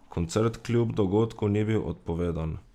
Koncert kljub dogodku ni bil odpovedan.